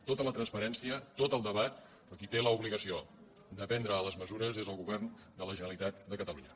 tota la transparència tot el debat però qui té l’obligació de prendre les mesures és el govern de la generalitat de catalunya